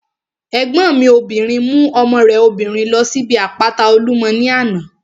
Ẹ̀gbọ́n mi obìnrin mú ọmọ rẹ̀ obìnrin ló síbi àpáta Olúmọ ní àná